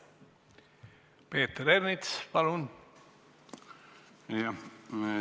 Peeter Ernits, palun!